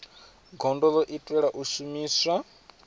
gondo ḽo itelwa u shumiswa